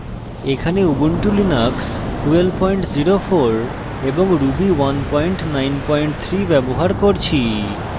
এখানে ubuntu linux 1204 এবং ruby 193 ব্যবহার করছি